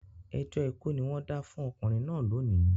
Ẹjọ́ ikú ni wọ́n dá fún ọkùnrin náà lónìí